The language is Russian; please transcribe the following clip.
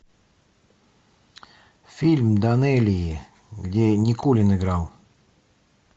фильм данелии где никулин играл